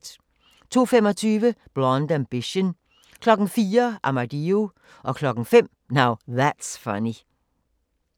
02:25: Blonde Ambition 04:00: Armadillo 05:00: Now That's Funny